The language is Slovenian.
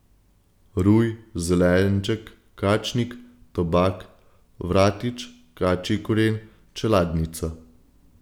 Ruj, zelenček, kačnik, tobak, vratič, kačji koren, čeladnica.